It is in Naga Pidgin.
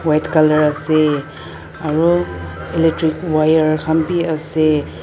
white color ase aro electric wire khan b ase.